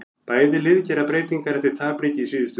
Bæði lið gera breytingar eftir tapleiki í síðustu umferð.